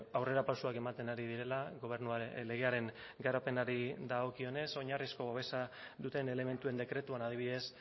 aurrerapausoak ematen ari direla gobernuaren legearen garapenari dagokionez oinarrizko babesa duten elementuen dekretuan adibidez